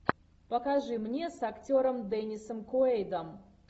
покажи мне с актером деннисом куэйдом